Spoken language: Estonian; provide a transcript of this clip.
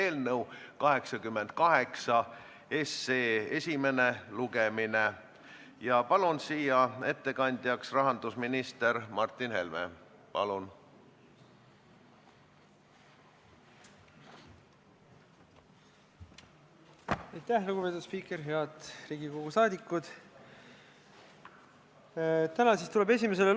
Ettepaneku kohaselt jääb see erand alles, kuna lõikes kehtestatud ettemaksu miinimumsumma on ebaproportsionaalselt suur võrreldes Eestis tavapäraste inimese surmaga seotud vahetute kulude suurusega.